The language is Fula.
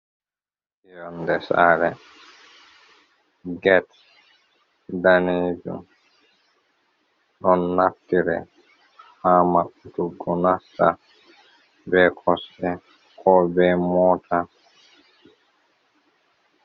Yonde sare get danejum, ɗon naftire ha maɓɓtuggo nasta be kosɗe ko be mota.